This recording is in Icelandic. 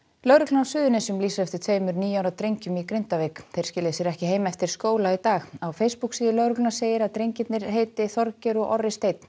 lögreglan á Suðurnesjum lýsir eftir tveimur níu ára drengjum í Grindavík þeir skiluðu sér ekki heim eftir skóla í dag á lögreglunnar segir að drengirnir heita Þorgeir og Orri Steinn